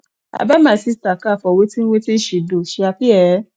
i buy my sister car for wetin wetin she do she happy ee